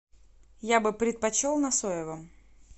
я бы предпочел на соевом